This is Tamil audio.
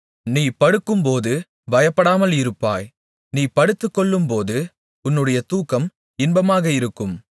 நீ படுக்கும்போது பயப்படாமல் இருப்பாய் நீ படுத்துக்கொள்ளும்போது உன்னுடைய தூக்கம் இன்பமாக இருக்கும்